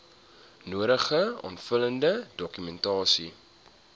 nodige aanvullende dokumentasie